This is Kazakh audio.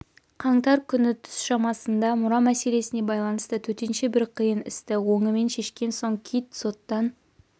қаңтар күні түс шамасында мұра мәселесіне байланысты төтенше бір қиын істі оңымен шешкен соң кит соттан